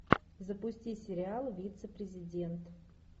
запусти сериал вице президент